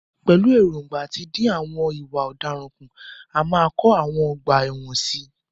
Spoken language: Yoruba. Pẹ̀lú ẹ̀ròǹgbà àti dín ìwà ọ̀daràn kù, a máa kọ àwọn ọgbà ẹ̀wọ̀n sí i.